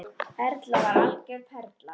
Erla var algjör perla.